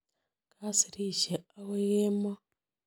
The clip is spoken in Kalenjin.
Kasirishe akoi kemoi.